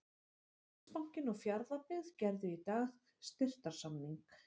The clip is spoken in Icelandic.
Landsbankinn og Fjarðabyggð gerðu í dag styrktarsamning.